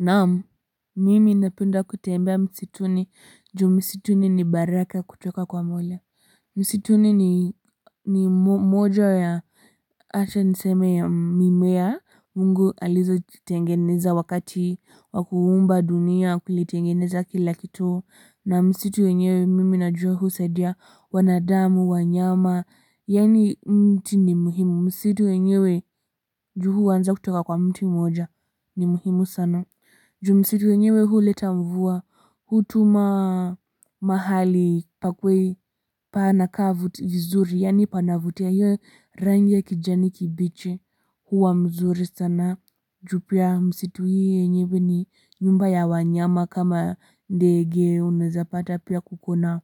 Naam, mimi napenda kutembea msituni, juu msituni ni baraka kutoka kwa mola. Misituni ni ni moja ya, acha niseme ya mimea, mungu alizozitengeneza wakati, wakuumba dunia, kulitengeneza kila kitu, na msitu wenyewe mimi na juwa husaidia, wanadamu, wanyama, yani mti ni muhimu. Msitu wenyewe, juu huanza kutoka kwa mti moja, ni muhimu sana. Ju msitu yenyewe huleta mvua hutuma mahali pakuwe panaka vuzuri yani panavutia hiyo rangi ya kijani kibiche huwa mzuri sana ju pia msitu hii yenyewe ni nyumba ya wanyama kama ndege unaeza pata pia kukona